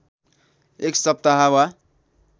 एक सप्ताह वा